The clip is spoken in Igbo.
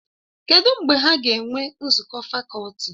Kedụ mgbe ha ga-enwe nzukọ fakọlti?